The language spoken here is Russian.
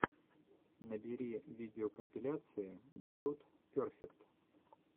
набери видеокомпиляции дьюд перфект